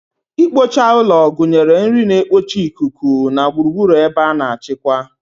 Ikpocha ụlọ gụnyere nri na-ekpocha ikuku na gburugburu ebe a na-achịkwa.